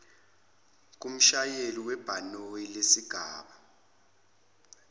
kumshayeli webhanoyi lesigaba